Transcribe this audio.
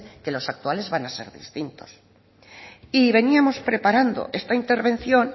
que los actuales van a ser distintos y veníamos preparando esta intervención